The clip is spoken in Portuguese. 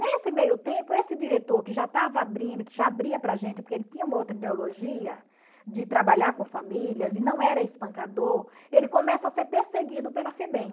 Nesse meio tempo, esse diretor que já estava abrindo, que já abria para a gente, porque ele tinha uma outra ideologia de trabalhar com famílias e não era espancador, ele começa a ser perseguido pela Febem.